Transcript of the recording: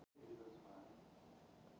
Fellaskjóli